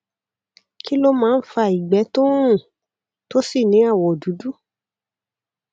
kí ló máa ń fa ìgbẹ tó ń rùn tó sì ní àwọ dúdú